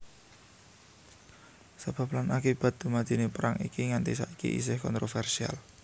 Sebab lan akibat dumadiné perang iki nganti saiki isih kontrovèrsial